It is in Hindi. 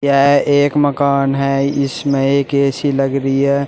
यह एक मकान है इसमें एक ए_सी लग रही है।